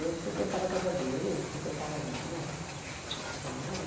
Eu frequentava a casa dele, ele frequentava a minha, claro.